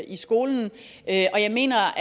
i skolen og jeg mener